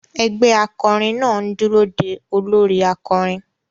Ẹgbẹ́ akọrin náà ń dúró de olórí akọrin.